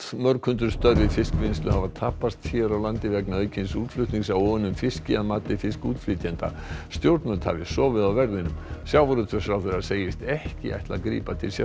mörg hundruð störf í fiskvinnslu hafa tapast hér á landi vegna aukins útflutnings á óunnum fiski að mati fiskútflytjenda stjórnvöld hafi sofið á verðinum sjávarútvegsráðherra segist ekki ætla að grípa til